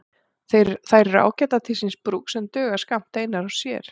Þær eru ágætar til síns brúks en duga skammt einar og sér.